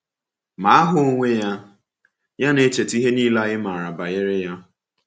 Ma aha onwe ya na-echeta ihe niile anyị maara banyere Ya.